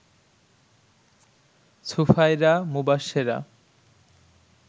Sufaira, Mubashera